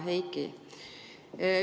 Hea Heiki!